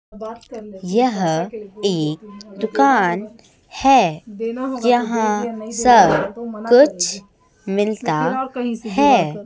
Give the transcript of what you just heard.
यह एक दुकान है यहां सब कुछ मिलता है।